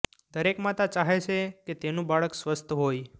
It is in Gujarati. દરેક માતા ચાહે છે કે તેનું બાળક સ્વસ્થ હોય